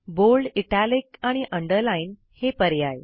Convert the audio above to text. bold italic आणि underline हे पर्याय